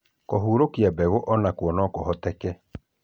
kũhurunka mbegũ onakuo no kũhũthĩke